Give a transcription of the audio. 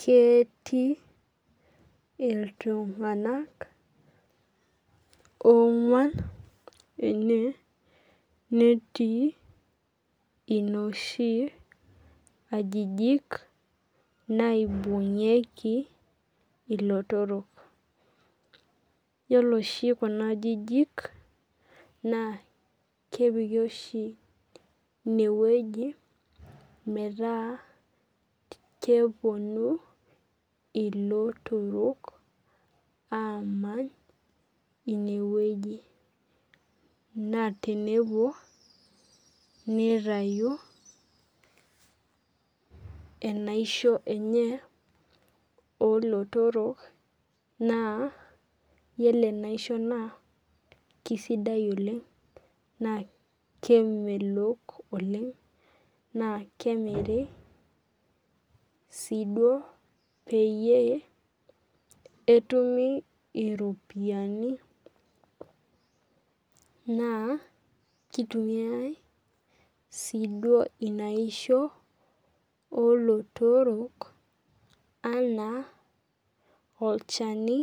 Ketii iltung'anak ong'uan ene, netii inooshi ajijik naibung'ieki ilotorok. Iyiolo oshi kuna ajijik, kepiki ine metaa kepuonu ilotorok, aamany, ine wueji, naa tenepuo neitayu enaisho enye olotoro, naa iyiolo ajo ore enaisho naa sidai oleng', naa kemelok oleng' naa kemiri sii duo peyie etumi iropiani, naa keitumiyai sii duo ina aishoo oo lotoro naa keitumiyai anaa olchani